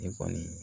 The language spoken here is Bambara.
Ne kɔni